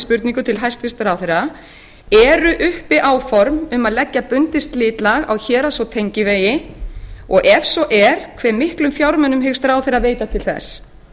spurningu til hæstvirts ráðherra eru uppi áform um að leggja bundið slitlag á héraðs og tengivegi og ef svo er hvað miklum fjármunum hyggst ráðherra veita til þess